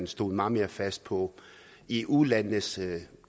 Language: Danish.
stået meget mere fast på eu landenes